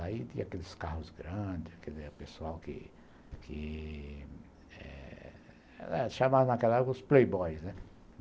Aí tinha aqueles carros grandes, aquele pessoal que...que... Chamavam naquela época os playboys, né?